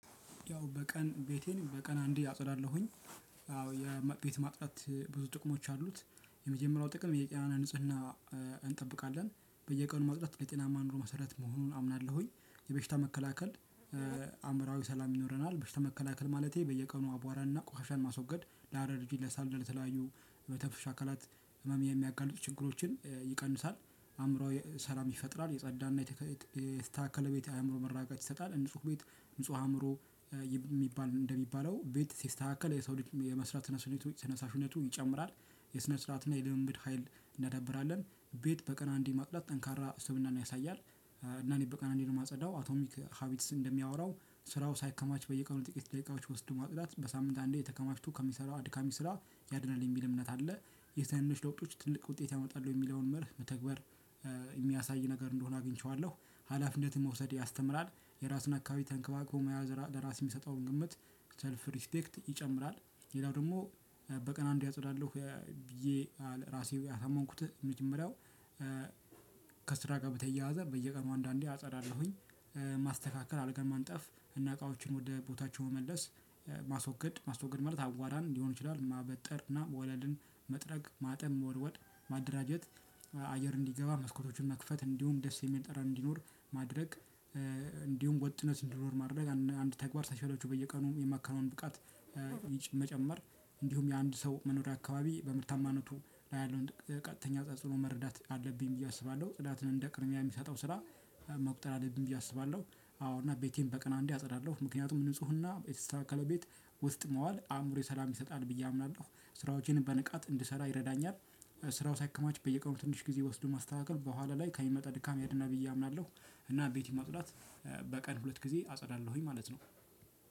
ያው በቀን ቤቴን በቀን አንዴ አፀዳለሁኝ። አዎ የቤት ማጽዳት ብዙ ጥቅሞች አሉት። የመጀመሪያው ጥቅም የጋራ ንጽህና። እንጠብቃለን በየቀኑ መፅዳት ለጤናማ ኑሮ መሰረት መሆኑን አምናለሁኝ። የበሽታ መከላከል አምራዊ ሰላም ይኖረናል። በሽታ መከላከል ማለቴ በየቀኑ አቧራና ቆሻሻን ማስወገድ። ለአረርጂ ለሳል ለተለያዩ መተንፈሻ አካላት ህመም የሚያጋልጡ ችግሮችን ይቀንሳል። አእምሮአዊ ሰላም ይፈጥራል የጸዳና የተስተካከለ ቤት የአእምሮ መረጋጋት ይሰጣል። እንጹህ ቤት ንጹህ አእምሮ የሚባል እንደሚባለው ቤት ሲስተካከል የሰው ልጅ የመስራት ስሜቱ ተነሳሽነቱ ይጨምራል። የስነ ስርዓት እና የልምምድ ሀይል እናዳብራለን ቤት በቀን አንዴ ማጽዳት ጠንካራ ስብእናን ያሳያል። እና እኔ በቀን አንዴ ነው የማጸዳው። አቶሚክ ሀቢትስ እንደሚያወራው ስራው ሳይከማች በየቀኑ ጥቂት ደቂቃዎች ወስዶ ማጽዳት በሳምንት አንዴ ተከማችቶ ከሚሰራ አድካሚ ስራ ያድናል የሚል እምነት አለ። የትንንሽ ለውጦች ትልቅ ውጤት ያመጣል የሚል መርህ በተግባር የሚያሳይ ነገር እንደሆነ አግኝቼዋለሁ። ሀላፊነትን መውሰድ ያስተምራል። የራሱን አካባቢ ተንከባክቦ መያዝ ለራስ የሚሰጠውን ግምት ሰልፍ ሪስፔክት ይጨምራል። ሌላው ደግሞ በቀን አንዴ አጸዳለሁ ብዬ ራሴ ያሳመንኩት መጀመሪያው። ከስራ ጋር በተየያዘ በየቀኑ አንዳንዴ አጸዳለሁኝ። ማስተካከል አልጋን ማንጠፍ እና እቃዎችን ወደ ቦታቸው መመለስ ማስወገድ ማስወገድ ማለት አባራን ሊሆን ይችላል። ማበጠር እና ወለልን መጥረግ ማጠብ መወልወል ማደራጀት። አየር እንዲገባ መስኮቶችን መክፈት እንዲሁም ደስ የሚል ጠረን እንዲኖር ማድረግ። እንዲሁም ወጥነት እንዲኖር ማድረግ አንድ ተግባር ሳይሰለቹ በየቀኑ የማከነውን ብቃት መጨመር። እንዲሁም የአንድ ሰው መኖሪያ አካባቢ በምርታማነቱ ላይ ያለውን ቀጥተኛ ተጽዕኖ መረዳት አለብኝ ብዬ አስባለሁ ጽዳትን እንደ ቅድሚያ የሚሰጠው ስራ መቁጠር አለብኝ ብዬ አስባለሁ። አዎ እና ቤቴን በቀን አንዴ አጽዳለሁ ምክንያቱም ንፁህና የተስተካከለ ቤት ውስጥ መዋል አእምሮዊ ሰላም ይሰጣል ብዬ አምናለሁ ስራዎቼን በንቃት እንድሰራ ይረዳኛል። ስራው ሳይከማች በየቀኑ ትንሽ ጊዜ ወስዶ ማስተካከል በኋላ ላይ ከሚመጣ ድካም ያድናል ብዬ አምናለሁ። እና ቤት ማጽዳት በቀን ሁለት ጊዜ አፀዳለሁኝ ማለት ነው።